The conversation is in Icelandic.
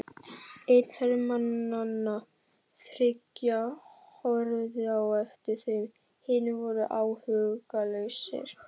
Einn hermannanna þriggja horfði á eftir þeim, hinir voru áhugalausir.